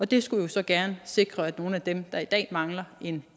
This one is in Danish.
det skulle jo så gerne sikre at nogle af dem der i dag mangler en